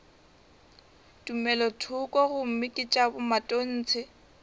tumelothoko gomme ke tša bomatontshe